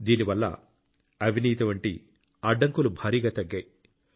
దీని వల్ల అవినీతి వంటి అడ్డంకులు భారీగా తగ్గాయి